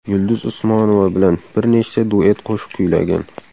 Yulduz Usmonova bilan bir nechta duet qo‘shiq kuylagan.